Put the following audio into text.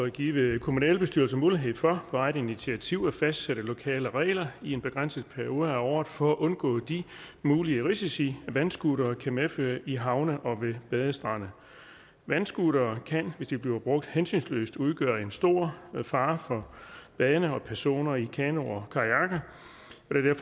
give kommunalbestyrelser mulighed for på eget initiativ at fastsætte lokale regler i en begrænset periode af året for at undgå de mulige risici vandscootere kan medføre i havne og ved badestrande vandscootere kan hvis de bliver brugt hensynsløst udgøre en stor fare for badende og personer i kanoer og kajakker